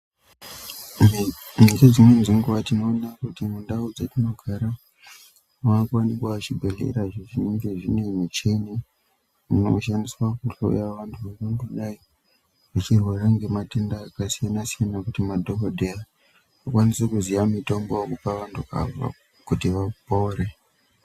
Nedzo dzimweni dzenguwa tinoona kuti mundau dzatinogara makuwanika chibhehlera icho chinenge chine michini inoshandiswa kuhloya vanhu vangadai veirwara ngezvitenda zvakasiyanasiyana kuti madhokodheya vakwanise kuziya mitombo yekupa vanhu ava kuti vapore.